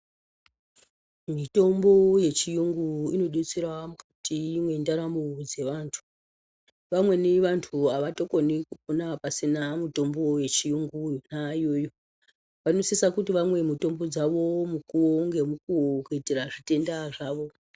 Mitombo yechiyungu inodetsera mukati mwendaramo dzevantu, vamweni vantu avatokoni kupona pasina mitombo yechiyungu yona iyoyo vanosisa kuti vamwe mutombo dzavo mukuwo ngemukuwo kuitira zvitenda zvavo.